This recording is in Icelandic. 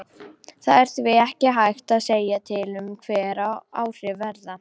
Það er því ekki hægt að segja til um hver áhrifin verða.